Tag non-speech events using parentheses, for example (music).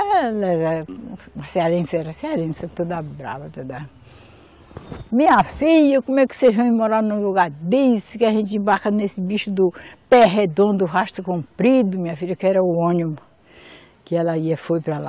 (unintelligible) Ela era um, uma cearense, era uma cearense toda brava, toda... Minha filha, como é que vocês vem morar num lugar desse, que a gente embarca nesse bicho do pé redondo, rastro comprido, minha filha, que era o ônibus que ela ia, foi para lá.